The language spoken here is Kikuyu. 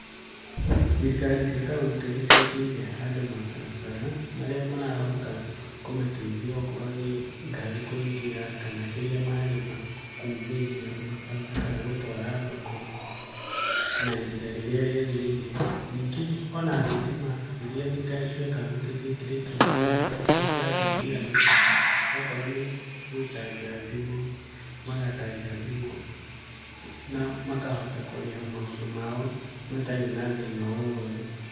Thirikari cia kaũntĩ nĩ ciakĩire andũ mabarabara, marĩa marahota kũmateithia okorwo nĩ ngari kũingĩra kana kĩrĩa marĩma kuumiria mabarabara kana gũtwara thoko, na ihinda rĩrĩa rĩagĩrĩire. Ningĩ ona thitima iria thirikari cia kaũnti ciĩkĩrĩte nĩ cirateithia andũ, okorwo nĩ gũcanja thimũ, magacanja thimũ na makohata kũrĩha maũndũ mao matarĩ na thĩna o wothe.